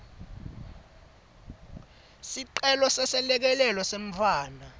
sicelo seselekelelo semntfwana